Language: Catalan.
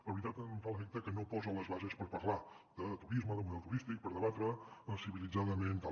la veritat em fa l’efecte que no posa les bases per parlar de turisme de model turístic per debatre civilitzadament i tal